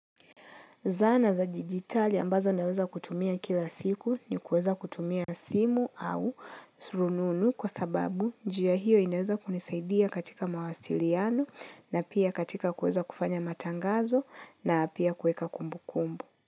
Zana za digitali ambazo naweza kutumia kila siku ni kueza kutumia simu au rununu kwa sababu njia hio inaweza kunisaidia katika mawasiliano na pia katika kueza kufanya matangazo na pia kueka kumbukumbu.